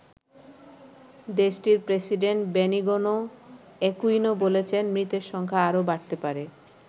দেশটির president Benigno Aquino বলেছেন মৃতের সংখ্যা আরও বাড়তে পারে।